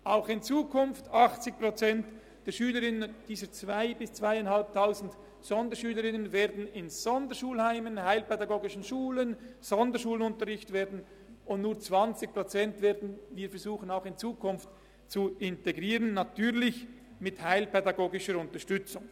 Auch in Zukunft werden 80 Prozent dieser 2000 bis 2500 Sonderschülerinnen und Sonderschüler in Sonderschulheimen oder heilpädagogischen Schulen den Sonderschulunterricht besuchen, und nur bei 20 Prozent werden wir in Zukunft versuchen, sie zu integrieren, natürlich mit heilpädagogischer Unterstützung.